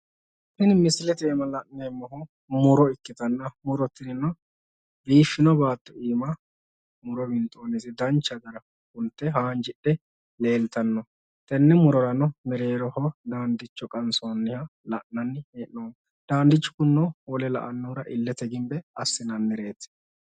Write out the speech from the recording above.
Tini misilete iima la'neemmohu muro ikkitanna, muro tinino biiffino baatto iima winxoonniti dancha gede fulte haajidhe leeltanno tenne murorano mereeroho dandiicho qansoonniha la'nanni hee'noommo, dandiichu kunino wole la"annohura illete gibbe assinonirichooti.